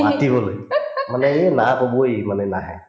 মাতিবলে মানে ইয়ে না কবয়ে ই মানে নাহে